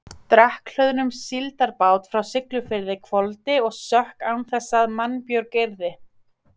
Drekkhlöðnum síldarbát frá Siglufirði hvolfdi og sökk án þess að mannbjörg yrði.